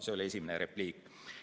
See oli esimene repliik.